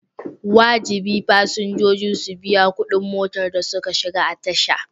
Wajibi fasinjoji su biya kuɗin motar da suka shiga a tasha.